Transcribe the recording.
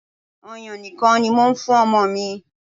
Ọyàn nìkan ni mò ń fún ọmọ mi.